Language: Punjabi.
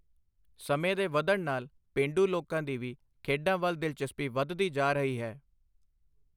ਸਮੇਂ ਦੇ ਵੱਧਣ ਨਾਲ ਪੇਂਡੂ ਲੋਕਾਂ ਦੀ ਵੀ ਖੇਡਾਂ ਵੱਲ ਦਿਲਚਸਪੀ ਵੱਧਦੀ ਜਾ ਰਹੀ ਹੈ।